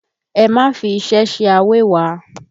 Ẹ má fi iṣẹ́ ṣe awẹ́wa!